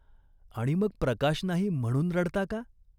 आणि मग प्रकाश नाही म्हणून रडता का ?